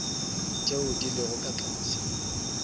tšeo di lego ka tlase